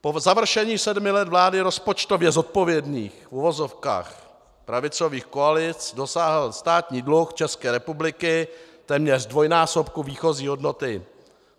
Po završení sedmi let vlády rozpočtově zodpovědných, v uvozovkách, pravicových koalic dosáhl státní dluh České republiky téměř dvojnásobku výchozí hodnoty.